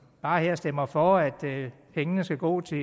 bare stemmer for at pengene skal gå til